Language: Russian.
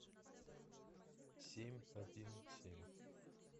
семь один семь